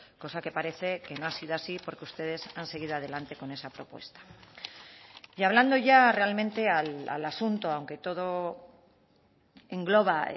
cosa que parece que no ha sido así porque ustedes han seguido adelante con esa propuesta y hablando ya realmente al asunto aunque todo engloba